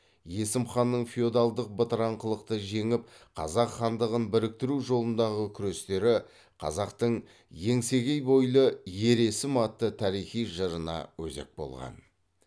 есім ханның феодалдық бытыраңқылықты жеңіп қазақ хандығын біріктіру жолындағы күрестері қазақтың еңсегей бойлы ер есім атты тарихи жырына өзек болған